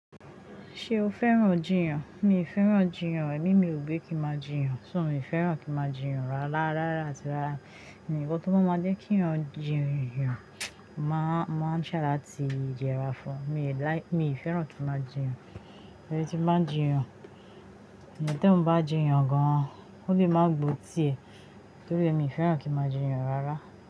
Ṣé o fẹ́ràn jiyàn? Mi ò fẹ́ràn jiyàn, èmi mi ò gbé kí n máa jiyàn, ṣó mi ò fẹ́ràn kí n máa jiyàn rárá. Rárá atí rárá, nkan tó bá máa je kí eeyan jiyàn, mo máa try láti ye'ra fún o Mi ò like, mi ò fẹ́ràn kí n máa jiyàn. Ẹni tí bá ń jiyàn, eeyan teyan bá jiyàn gan, ó le máa gbó tiẹ̀ torí e mi ò fẹ́ràn kí n máa jiyàn rárá.